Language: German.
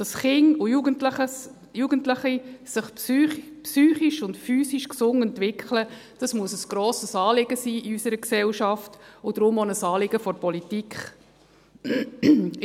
Dass sich Kinder und Jugendliche psychisch und physisch gesund entwickeln, muss in unserer Gesellschaft ein grosses Anliegen und deshalb auch ein Anliegen der Politik sein.